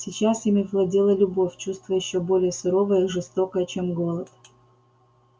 сейчас ими владела любовь чувство ещё более суровое и жестокое чем голод